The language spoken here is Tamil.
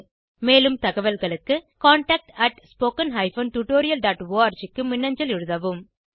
மேலும் தகவல்களுக்கு contactspoken tutorialorg க்கு மின்னஞ்சல் எழுதவும்